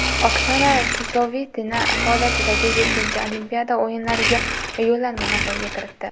Oksana Chusovitina faoliyatidagi yettinchi Olimpiada o‘yinlariga yo‘llanmani qo‘lga kiritdi .